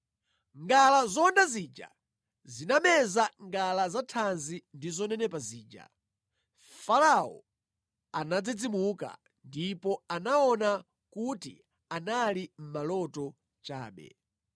Ngala zowonda zija zinameza ngala zathanzi ndi zonenepa zija. Farao anadzidzimuka ndipo anaona kuti anali maloto chabe.